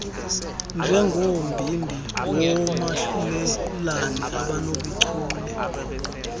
njengombindi woomahlulelane abanobuchule